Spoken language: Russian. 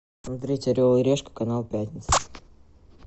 смотреть орел и решка канал пятница